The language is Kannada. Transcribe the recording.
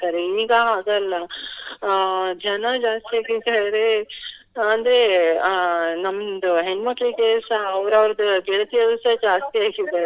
ಈಗ ಹಾಗಲ್ಲ ಅಹ್ ಜನ ಜಾಸ್ತಿ ಆಗಿ ಎಂತ ಹೇಳಿದ್ರೆ ಅಂದ್ರೆ ಅಹ್ ನಮ್ದು ಹೆಣ್ಮಕ್ಳಿಗೆ ಸಹ ಅವ್ರವ್ರದ್ದು ಗೆಳತಿಯರು ಸಹ ಜಾಸ್ತಿಯಾಗಿದ್ದಾರೆ.